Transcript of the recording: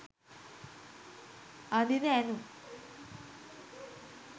අඳින ඇඳුම්